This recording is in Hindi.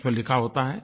उसमें लिखा होता है